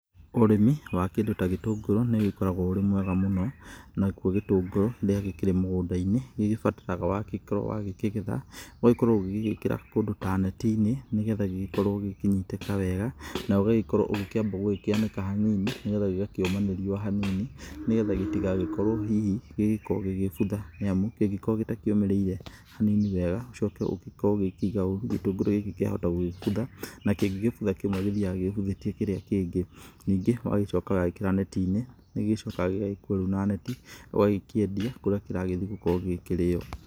Ũrĩmi wa kĩndũ ta gĩtũngũrũ nĩ ũgĩkoragwo ũrĩ mwega mũno nakĩo gĩtũngũrũ rĩrĩa gĩkĩrĩ mũgũnda-inĩ gĩgĩbataraga wakoro ũgĩkĩgetha ũgakorwo ũgĩgĩkĩra kũndũ ta neti-inĩ nĩgetha gĩkorwo gĩkĩnyitĩka wega na ũgĩgĩkorwo ũgĩkĩamba gũkĩanĩka hanini nĩgetha gĩgakĩũma nĩ riũa hanini nĩgetha gĩtigakorwo hihi gĩgĩkorwo gĩgĩbutha nĩ amu kĩngĩkorwo gĩtaũmĩrĩire hanini wega ucoke ũkorwo ũkĩiga ũru gĩtũngũrũ gĩkĩ gĩa hotagũgĩmbutha na kĩngĩ mbutha kĩmwe gĩthiaga gĩmbuthĩtie kĩrĩa kĩngĩ, ningĩ ũgagĩcoka ũgagĩkĩra neti-inĩ nĩgĩcokaga gĩgagĩkuo na neti ũgagĩkĩendia kũrĩa kĩragĩthiĩ gũkorwo gĩkĩrĩo.